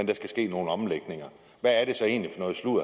der skal ske nogle omlægninger hvad er det så egentlig